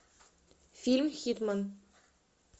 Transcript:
фильм хитмен